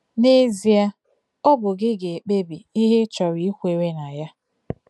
N’ezie, ọ bụ gị ga-ekpebi ihe ị chọrọ ikwere na ya